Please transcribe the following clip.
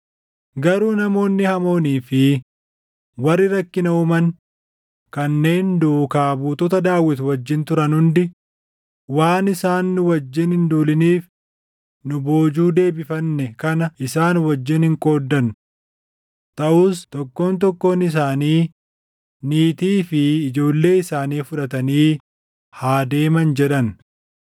Garuu namoonni hamoonii fi warri rakkina uuman kanneen duukaa buutota Daawit wajjin turan hundi, “Waan isaan nu wajjin hin duuliniif nu boojuu deebifanne kana isaan wajjin hin qooddannu. Taʼus tokkoon tokkoon isaanii niitii fi ijoollee isaanii fudhatanii haa deeman” jedhan.